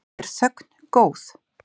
Er þögn góð?